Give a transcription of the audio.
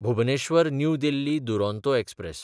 Bhubaneswar New Delhi Duronto express